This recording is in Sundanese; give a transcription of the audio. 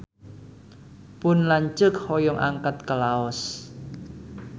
Pun lanceuk hoyong angkat ka Laos